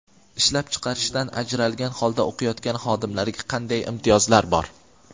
Ishlab chiqarishdan ajralgan holda o‘qiyotgan xodimlarga qanday imtiyozlar bor?.